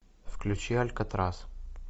включи алькатрас